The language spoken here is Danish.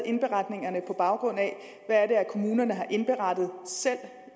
indberetningerne på baggrund af hvad kommunerne selv har indberettet